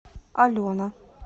алена